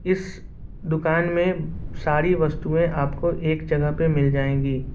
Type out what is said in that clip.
इस दुकान में सारी वस्तुएं आपको एक जगह पे मिल जाएगी।